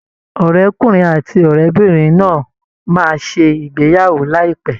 Ọ̀rẹ́kùnrin àti ọ̀rẹ́bìnrin náà máa ṣe ìgbéyàwó láìpẹ́